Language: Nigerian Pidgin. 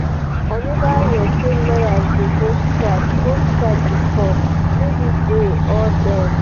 i never hear say lawyers dey go strike go strike before. maybe dey or dem.